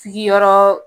Sigiyɔrɔ